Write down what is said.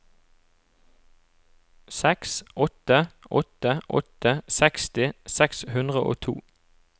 seks åtte åtte åtte seksti seks hundre og to